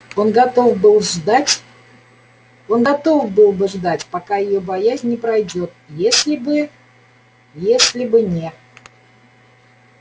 он готов был ждать он готов был бы ждать пока её боязнь не пройдёт если бы если бы не